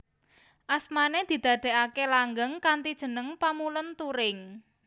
Asmané didadèaké langgeng kanthi jeneng Pamulèn Turing